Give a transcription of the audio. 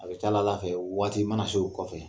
A bɛ fɛ o waati mana se kɔfɛ.